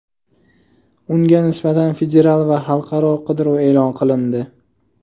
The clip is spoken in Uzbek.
Unga nisbatan federal va xalqaro qidiruv e’lon qilindi.